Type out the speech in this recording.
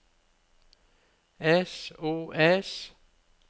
sos